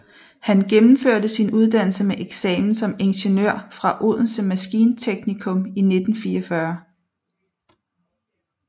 Han gennemførte sin uddannelse med eksamen som ingeniør fra Odense Maskinteknikum i 1944